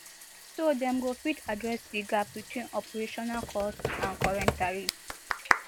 so dem go fit address di gap between operational cost and current tariffs